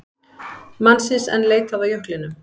Mannsins enn leitað á jöklinum